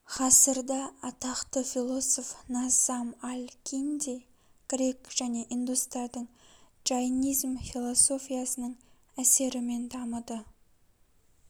ғасырда атақты философ наззам аль-кинди грек және индустардың джайнизм философиясының әсерімеи дамыды